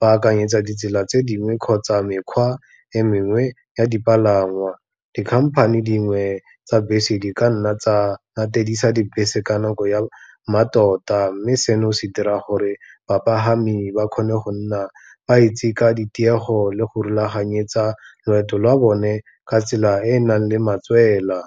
ba akanyetsa ditsela tse dingwe kgotsa mekgwa e mengwe ya dipalangwa. Dikhamphane dingwe tsa bese di ka nna tsa latedisa dibese ka nako ya mmatota, mme seno se dira gore bapagami ba kgone go nna ba itse ka ditiego le go rulaganyetsa loeto lwa bone ka tsela e e nang le matswela.